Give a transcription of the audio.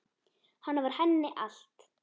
Hann var henni allt.